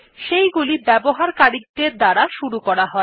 সেইগুলি ব্যবহারকারীদের দ্বারা শুরু করা হয়